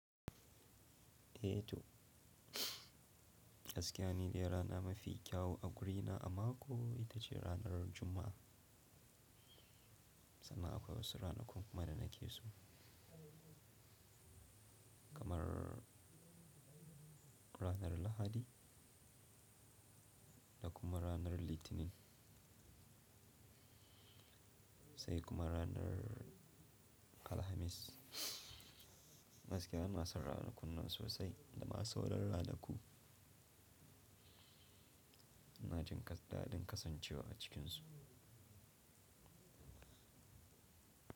Eh to, gaskiya ni dai rana mafi kyawu a wurina a mako ita ce ranar Juma'a. Sannan akwai wasu ranakun kuma da nake so, kamar ranar Lahadi, da kuma ranar Litinin, sai kuma ranar Alhamis. Gaskiya inasan ranakunnan sosai da ma sau ran ranaku, ina jin daɗin kasancewa a cikinsu.